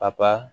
A ba